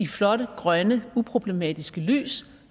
flot grønt uproblematisk lys